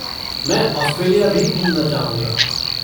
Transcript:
मैं ऑस्ट्रेलिया भी घूमना चाहूँगा।